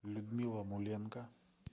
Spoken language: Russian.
людмила муленко